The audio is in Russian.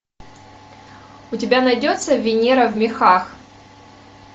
у тебя найдется венера в мехах